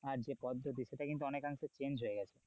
আর যে পদ্ধতি সেটা কিন্তু অনেক অংশে change হয়ে গেছে,